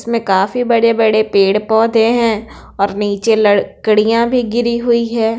इसमें काफी बड़े-बड़े पेड़-पौधे हैं और नीचे लड़कड़ियां भी गिरी हुई है।